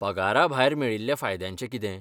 पगारा भायर मेळिल्ल्या फायद्यांचें कितें ?